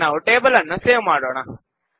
ಈಗ ನಾವು ಟೇಬಲ್ ಅನ್ನು ಸೇವ್ ಮಾಡೋಣ